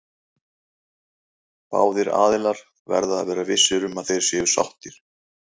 Báðir aðilar verða að vera vissir um að þeir séu sáttir.